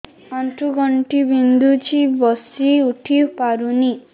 ଆଣ୍ଠୁ ଗଣ୍ଠି ବିନ୍ଧୁଛି ବସିଉଠି ପାରୁନି